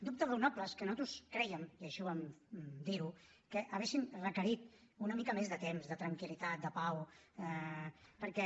dubtes raonables que nosaltres crèiem i així vam dir ho que haurien requerit una mica més de temps de tranquillitat de pau perquè